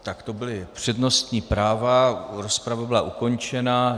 Tak to byly přednostní práva, rozprava byla ukončena.